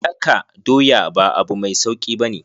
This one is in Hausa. Daka doya ba abu mai sauki ba ne.